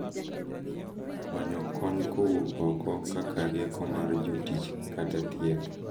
Manyo kony kowuok oko, kaka rieko mar jotich kata thieth,